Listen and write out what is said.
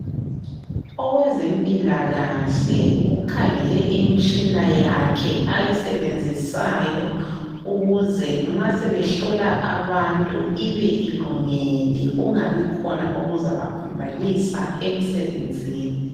Owezempilakahle ukhangele imitshina yakhe ayisebenzisayo ukuze nxa sebehlola abantu ibe ilungile kungabikhona okuzabaphambanisa emsebenzini.